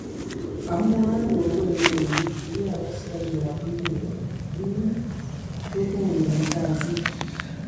Omwoe kongoi neo bikab askarikab luget amun kyogonon kasiit